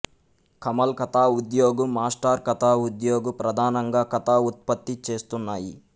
Kamal Katha Udyog Master Katha Udyog ప్రధానంగా కథా ఉత్పత్తి చేస్తున్నాయి